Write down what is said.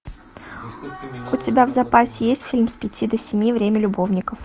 у тебя в запасе есть фильм с пяти до семи время любовников